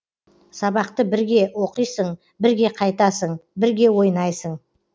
сабақты бірге оқисың бірге қайтасың бірге ойнайсың